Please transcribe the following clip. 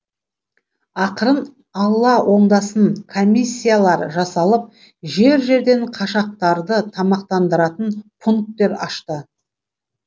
ақырын алла оңдасын комиссиялар жасалып жер жерден қашақтарды тамақтандыратын пункттер ашты